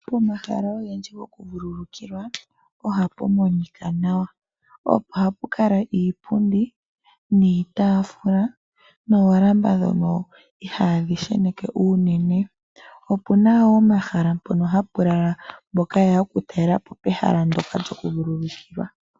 Pomahala ogendji gokuvulukilwa ohapu monika nawa. Ohapu kala iipundi niitaafula noolamba dhono ihaadhi sheneke uunene. Opuna wo omahala mpoka hapu lala mboka ha yeya oku talela po pehala nyoka lyoku vulukilwa.